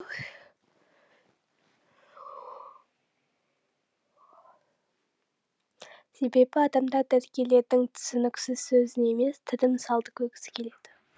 себебі адамдар дәрігерлердің түсініксіз сөзін емес тірі мысалды көргісі келеді